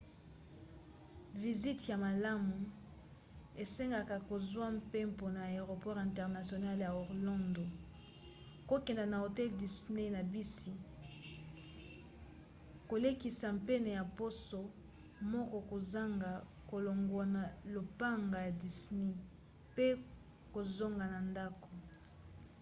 visiti ya malamu esengaka kozwa mpempona aeroport international ya orlando kokende na hotel disney na bisi kolekisa pene ya poso moko kozanga kolongwa na lopango ya disney pe kozonga na ndako